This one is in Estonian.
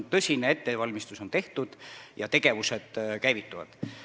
Tõsine ettevalmistus on tehtud ja tegevused käivituvad.